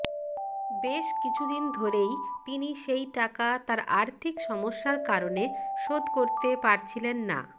বেশ কিছুদিন ধরেই তিনি সেই টাকা তার আর্থিক সমস্যার কারণে শোধ করতে পারছিলেন না